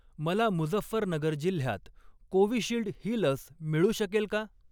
मला मुझफ्फरनगर जिल्ह्यात कोविशिल्ड ही लस मिळू शकेल का?